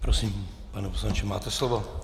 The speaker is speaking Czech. Prosím, pane poslanče, máte slovo.